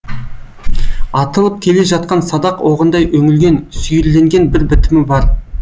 атылып келе жатқан садақ оғындай үңілген сүйірленген бір бітімі бар